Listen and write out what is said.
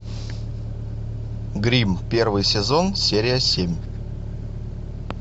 гримм первый сезон серия семь